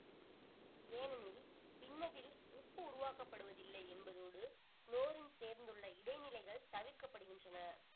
ஏனெனில் பின்னதில் உப்பு உருவாக்கப்படுவதில்லை என்பதோடு குளோரின் சேர்ந்துள்ள இடைநிலைகள் தவிர்க்கப்படுகின்றன